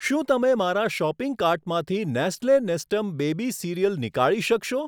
શું તમે મારા શોપિંગ કાર્ટમાંથી નેસ્લે નેસ્ટમ બેબી સીરીયલ નીકાળી શકશો?